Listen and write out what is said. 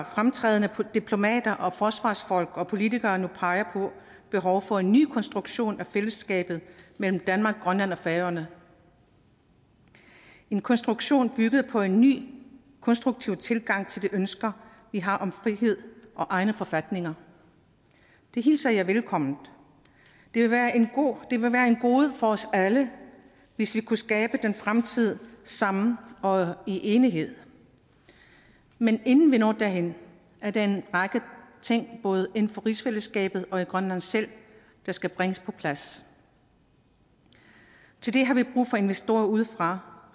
fremtrædende diplomater og forsvarsfolk og politikere nu peger på behovet for en ny konstruktion af fællesskabet mellem danmark grønland og færøerne en konstruktion bygget på en ny konstruktiv tilgang til de ønsker vi har om frihed og egne forfatninger det hilser jeg velkommen det vil være et gode for os alle hvis vi kunne skabe den fremtid sammen og i enighed men inden vi når derhen er der en række ting både inden for rigsfællesskabet og i grønland selv der skal bringes på plads til det har vi brug for investorer udefra